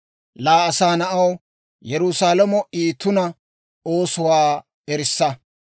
«Laa asaa na'aw, Yerusaalamo I tuna oosotuwaa erissa.